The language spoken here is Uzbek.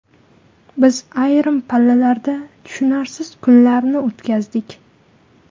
Biz ayrim pallalarda tushunarsiz kunlarni o‘tkazdik.